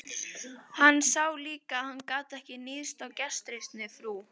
Hann sá líka að hann gat ekki níðst á gestrisni frú